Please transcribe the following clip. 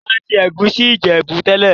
Ìyá mi ma n se ègusi Ìjẹ̀bú tẹ́lẹ̀.